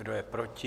Kdo je proti?